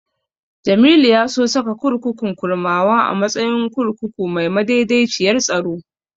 Jamilu ya so saka kurkukun Kurmawa a matsayin kurkuku mai madaidaiciyar tsaro.